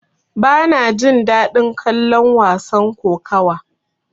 Bana jin daɗin kallon wasan kokawa.